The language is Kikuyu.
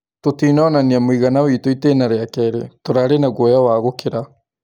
"Tũtinonania mũigana witũ itına rĩa kerĩ, tũrarĩ na guoya wa gũkĩrĩra."